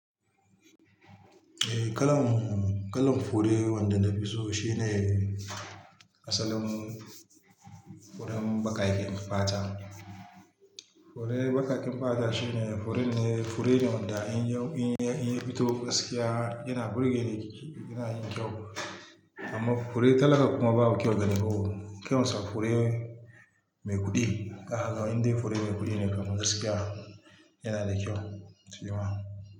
Eh, kalan, kalan fure wanda na fi so shine asalin furen bakaken fata. Fure bakaken fata shine furen ne, fure ne wanda in ya, in ya fito gaskiya yana burge ni, yana yin kyau. Amma fure talaka kuma babu kyau da ni ko. Kyansa fure mai kuɗi. A haka ga inda fure mai kuɗi ne kamar gaskiya yana da kyau, shi ma.